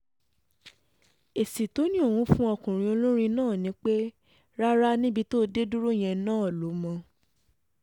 èsì tó ní òun fún ọkùnrin olórin náà ni pé rárá níbi tó dé dúró yẹn náà ló mọ̀